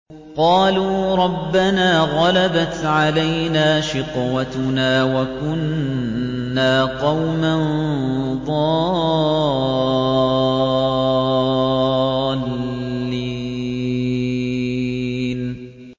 قَالُوا رَبَّنَا غَلَبَتْ عَلَيْنَا شِقْوَتُنَا وَكُنَّا قَوْمًا ضَالِّينَ